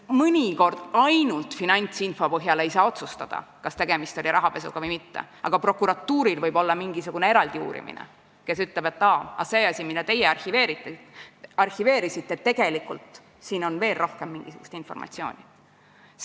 Mõnikord ei saa ainult finantsinfo põhjal otsustada, kas tegemist oli rahapesuga või mitte, aga prokuratuuril võib olla mingisugune eraldi uurimine ja ta saab ütelda, et aa, teie arhiveerisite, aga tegelikult on siin veel mingisugust informatsiooni.